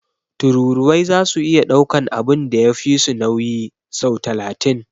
Tururuwai zasu iya daukan abun da ya fisu nauyi sau talatin.